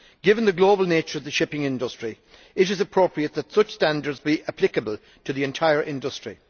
Given the global nature of the shipping industry, it is appropriate that such standards be applicable to the entire industry.